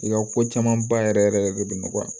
I ka ko caman ba yɛrɛ yɛrɛ yɛrɛ de bɛ nɔgɔya